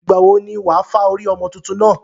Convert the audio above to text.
Ìgbàwo ni wà á fá orí ọmọ tuntun náà?